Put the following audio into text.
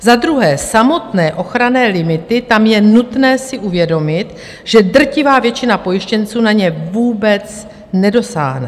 Za druhé, samotné ochranné limity - tam je nutné si uvědomit, že drtivá většina pojištěnců na ně vůbec nedosáhne.